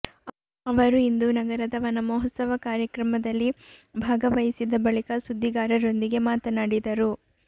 ಅವರು ಇಂದು ನಗರದ ವನಮಹೋತ್ಸವ ಕಾರ್ಯಕ್ರಮದಲ್ಲಿ ಭಾಗವಹಿಸಿದ ಬಳಿಕ ಸುದ್ದಿಗಾರರೊಂದಿಗೆ ಮಾತನಾಡಿದರು